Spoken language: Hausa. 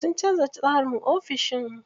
Sun canza tsarin ofishin.